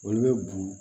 Olu bɛ bugun